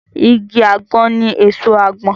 Igi àgbọn ní èso àgbọn